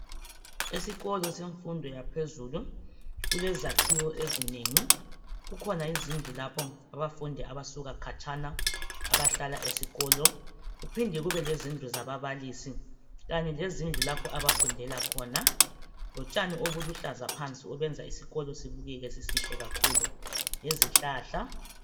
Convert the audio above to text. Esikolo semfundo yaphezulu kulezakhiwo ezinengi . Kukhona izindlu lapho abafundi abasuka khatshana abahlala esikolo kuphinde kube lezindlu zababalisi. Kanye lezindlu lapho abafundela khona. Utshani obuluhlaza phansi obenza isikolo sibukeke sisihle kakhulu lezihlahla.